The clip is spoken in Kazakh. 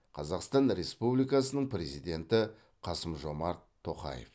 қазақстан республикасының президенті қасым жомарт тоқаев